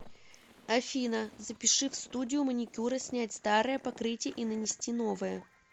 афина запиши в студию маникюра снять старое покрытие и нанести новое